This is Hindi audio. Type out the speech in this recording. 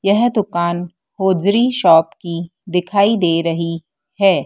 यह दुकान होजरी शॉप की दिखाई दे रही है।